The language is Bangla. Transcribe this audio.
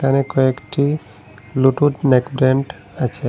এখানে কয়েকটি ব্লুটুথ নেকডেন্ট আছে।